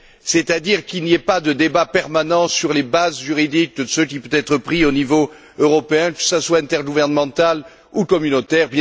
C'est à dire qu'il n'y ait pas de débat permanent sur les bases juridiques de ce qui peut être pris au niveau européen, que ce soit intergouvernemental ou communautaire